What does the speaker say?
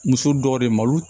Muso dɔw de malo